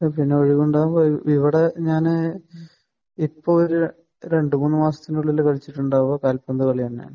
പിന്നെ ഇവിടെ ഞാൻ ഇപ്പോൾ ഒരു രണ്ട് മൂന്ന് മാസത്തിനുള്ളിൽ കളിച്ചിട്ടുണ്ടാവുക കാൽപന്ത് കളി തന്നെയാണ്.